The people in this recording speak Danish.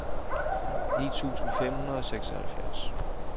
ni tusind fem hundrede og seksoghalvfjerds